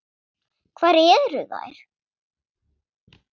Hvar eru þær?